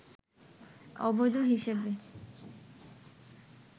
অবৈধ হিসেবে